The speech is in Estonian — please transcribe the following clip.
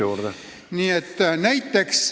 Palun!